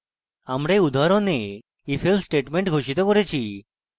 আমরা এই উদাহরণে ifelse statement ঘোষিত করেছি